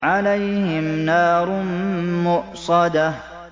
عَلَيْهِمْ نَارٌ مُّؤْصَدَةٌ